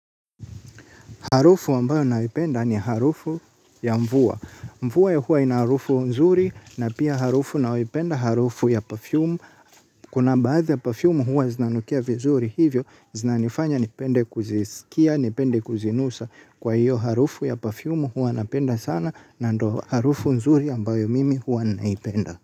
Harufu ambayo naipenda ni harufu ya mvua. Mvua ya huwa ina harufu nzuri na pia harufu nayoipenda harufu ya parfumu. Kuna baadha ya parfumu huwa zinanukia vizuri hivyo, zinanifanya nipende kuzisikia, nipende kuzinusa. Kwa hiyo harufu ya parfumu huwa napenda sana na ndo harufu nzuri ambayo mimi huwa naipenda.